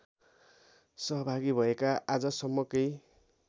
सहभागी भएका आजसम्मकै